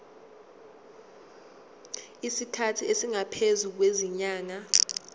isikhathi esingaphezulu kwezinyanga